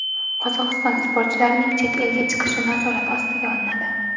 Qozog‘iston sportchilarining chet elga chiqishi nazorat ostiga olinadi.